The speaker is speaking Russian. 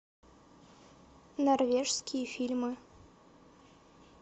норвежские фильмы